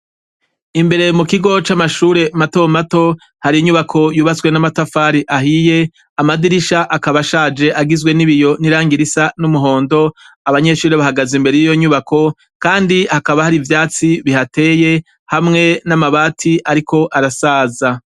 Imbere mu kigo c'Amashure matomato har'inyubako yubatswe n'amatafari ahiye, Amadirisha akaba ashaje agizwe n'ibiyo, n'irangi nisa n'umuhondo, abanyeshure bahagaze imbere yiyo nyubako kandi hakaba hari ivyatsi bihateye hamwe n'amabati ariko arasaza.